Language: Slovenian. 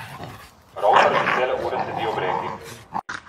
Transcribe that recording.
Rovtar že cele ure sedi ob reki.